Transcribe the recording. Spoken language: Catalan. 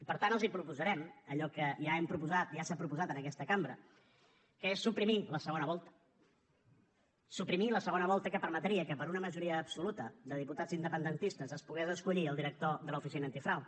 per tant els proposarem allò que ja hem proposat ja s’ha proposat en aquesta cambra que és suprimir la segona volta suprimir la segona volta que permetria que per una majora absoluta de diputats independentistes es pogués escollir el director de l’oficina antifrau